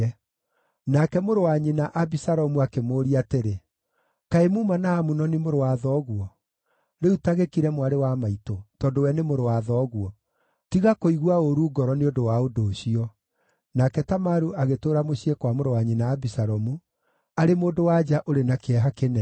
Nake mũrũ wa nyina Abisalomu akĩmũũria atĩrĩ, “Kaĩ muuma na Amunoni, mũrũ wa thoguo? Rĩu ta gĩkire, mwarĩ wa maitũ, tondũ we nĩ mũrũ wa thoguo. Tiga kũigua ũũru ngoro nĩ ũndũ wa ũndũ ũcio.” Nake Tamaru agĩtũũra mũciĩ kwa mũrũ wa nyina Abisalomu, arĩ mũndũ-wa-nja ũrĩ na kĩeha kĩnene.